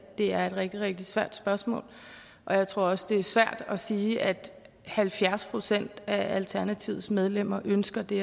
er et rigtig rigtig svært spørgsmål og jeg tror også det er svært at sige at halvfjerds procent af alternativets medlemmer ønsker det